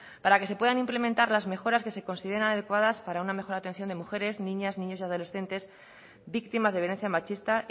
para que se puedan implementar las mejoras que se consideran adecuadas para una mejor atención de mujeres niñas niños y adolescentes víctimas de violencia machista